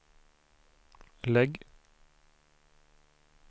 lägg